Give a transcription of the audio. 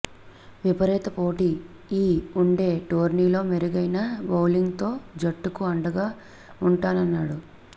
విపరీత పోటీ ఈ ఉండే టోర్నీలో మెరుగైన బౌలింగ్తో జట్టుకు అండగా ఉంటానన్నాడు